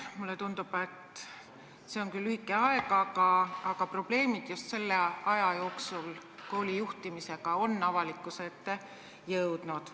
Mulle tundub, et see on küll lühike aeg, aga koolijuhtimise probleemid on just selle aja jooksul avalikkuse ette jõudnud.